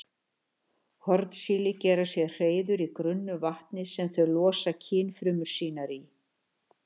Hornsíli gera sér hreiður í grunnu vatni sem þau losa kynfrumur sínar í.